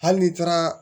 Hali n'i taara